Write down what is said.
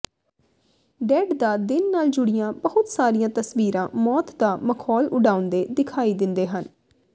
dead ਦਾ ਦਿਨ ਨਾਲ ਜੁੜੀਆਂ ਬਹੁਤ ਸਾਰੀਆਂ ਤਸਵੀਰਾਂ ਮੌਤ ਦਾ ਮਖੌਲ ਉਡਾਉਂਦੇ ਦਿਖਾਈ ਦਿੰਦੇ ਹਨ